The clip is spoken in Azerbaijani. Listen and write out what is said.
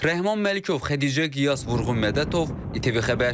Rəhman Məlikov, Xədicə Qiyas, Vurğun Mədətov, ITV Xəbər.